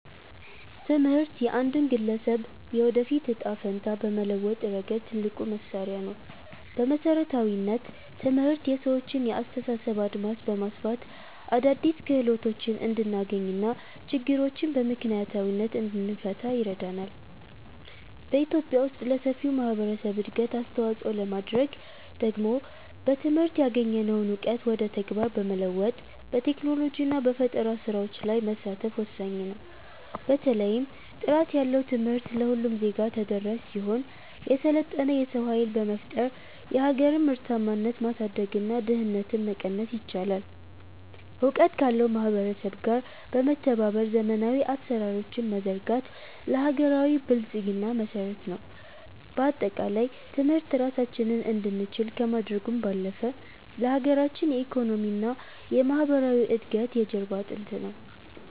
ትምህርት የአንድን ግለሰብ የወደፊት ዕጣ ፈንታ በመለወጥ ረገድ ትልቁ መሣሪያ ነው። በመሠረታዊነት፣ ትምህርት የሰዎችን የአስተሳሰብ አድማስ በማስፋት አዳዲስ ክህሎቶችን እንድናገኝና ችግሮችን በምክንያታዊነት እንድንፈታ ይረዳናል። በኢትዮጵያ ውስጥ ለሰፊው ማኅበረሰብ እድገት አስተዋፅኦ ለማድረግ ደግሞ በትምህርት ያገኘነውን እውቀት ወደ ተግባር በመለወጥ፣ በቴክኖሎጂና በፈጠራ ሥራዎች ላይ መሳተፍ ወሳኝ ነው። በተለይም ጥራት ያለው ትምህርት ለሁሉም ዜጋ ተደራሽ ሲሆን፣ የሰለጠነ የሰው ኃይል በመፍጠር የሀገርን ምርታማነት ማሳደግና ድህነትን መቀነስ ይቻላል። እውቀት ካለው ማኅበረሰብ ጋር በመተባበር ዘመናዊ አሠራሮችን መዘርጋት ለሀገራዊ ብልጽግና መሠረት ነው። በአጠቃላይ፣ ትምህርት ራሳችንን እንድንችል ከማድረጉም ባለፈ፣ ለሀገራችን የኢኮኖሚና የማኅበራዊ እድገት የጀርባ አጥንት ነው።